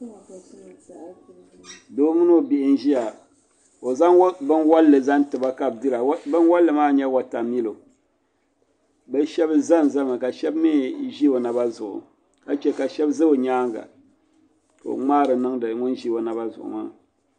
doo mini o bihi n-ʒiya ka o zaŋ binwanlli zaŋ ti ba ka bɛ dira binwalli maa n-nyɛ watamillo bɛ shɛba zazami ka shɛba mi ʒi o naba zuɣu ka che ka za o nyaaŋa ka o ŋmaari niŋdi ŋun ʒi o naba zuɣu maa